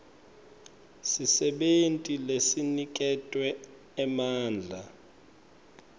sisebenti lesiniketwe emandla